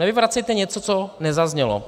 Nevyvracejte něco, co nezaznělo.